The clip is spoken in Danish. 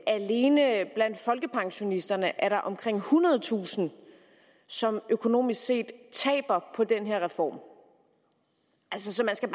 alene blandt folkepensionisterne er der omkring ethundredetusind som økonomisk set taber på den her reform så man skal